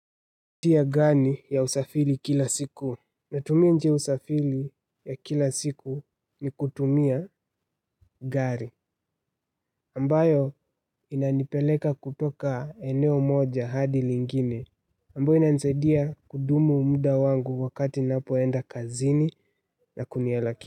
Tia gani ya usafiri kila siku? Natumia njia ya usafiri ya kila siku ni kutumia gari ambayo inanipeleka kutoka eneo moja hadi lingine ambao inanisaidia kudumu muda wangu wakati ninapoenda kazini na kunialaki.